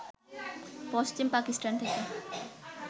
পশ্চিম পাকিস্তান থেকে